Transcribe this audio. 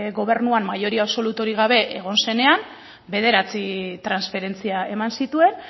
gobernuan mayoria absolutorik gabe egon zenean bederatzi transferentzia eman zituen